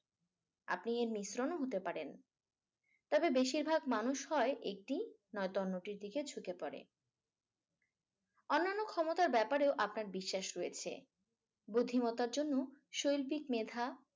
আপনি এর মিশ্রণও হতে পারেন। তাদের বেশিরভাগ মানুষরাই একটি মতামতের দিকে ঝুকে পড়ে অন্যান্য ক্ষমতার ব্যাপারেও আপনার বিশ্বাস রয়েছে। বুদ্ধিমত্তার জন্য শৈল্পিক মেধা।